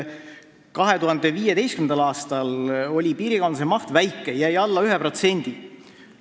2015. aastal oli piirikaubanduse maht väike, jäi alla 1%.